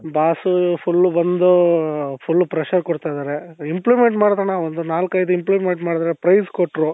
boss full ಬಂದು full pressure ಕೊಡ್ತಾ ಇದಾರೆ implement ಮಾಡ್ದೆಣ ಒಂದು ನಾಲ್ಕೈದು implement ಮಾಡ್ದೆ prize ಕೊಟ್ರು.